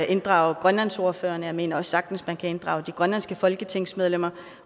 inddrage grønlandsordførerne jeg mener også sagtens man kan inddrage de grønlandske folketingsmedlemmer og